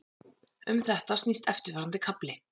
Um þetta snýst eftirfarandi kafli.